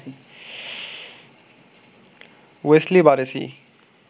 Wesley Barresi